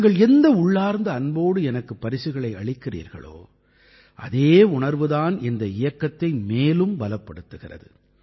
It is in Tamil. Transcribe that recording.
நீங்கள் எந்த உள்ளார்ந்த அன்போடு எனக்குப் பரிசுகளை அளிக்கிறீர்களோ அதே உணர்வு தான் இந்த இயக்கத்தை மேலும் பலப்படுத்துகிறது